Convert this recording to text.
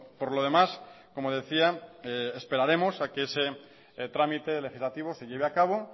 por lo demás como decía esperaremos que ese trámite legislativo se lleve a cabo